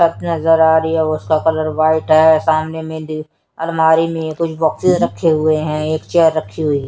नजर आ रही है उसका कलर व्हाइट है सामने में अलमारी में कुछ बॉक्स रखे हुए है एक चेयर रखे हुए हैं।